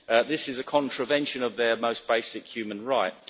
This is a contravention of their most basic human right.